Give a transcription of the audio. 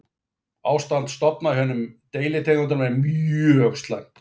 Ástand stofna hjá hinum deilitegundunum er mjög slæmt.